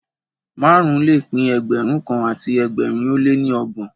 Márùn-ún le pín Ẹgbẹ̀rún kan àti ẹgbẹ̀rin ó lé ní ọgbọ̀n